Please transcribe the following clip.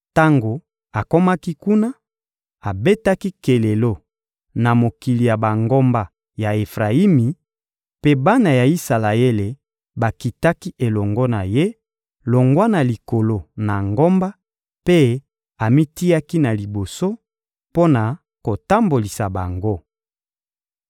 Tango akomaki kuna, abetaki kelelo na mokili ya bangomba ya Efrayimi, mpe bana ya Isalaele bakitaki elongo na ye, longwa na likolo na ngomba, mpe amitiaki na liboso mpo na kotambolisa bango.